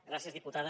gràcies diputada